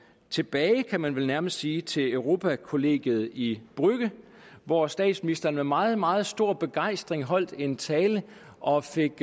tilbage kan man vel nærmest sige til europakollegiet i brügge hvor statsministeren med meget meget stor begejstring holdt en tale og fik